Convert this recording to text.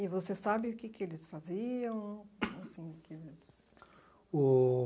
E você sabe o que que eles faziam? Assim o que que eles...O...